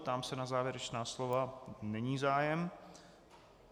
Ptám se na závěrečná slova - není zájem.